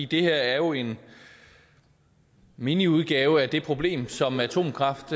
det her er jo en miniudgave af det problem som atomkraft